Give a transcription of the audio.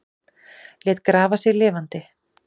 Lét grafa sig lifandi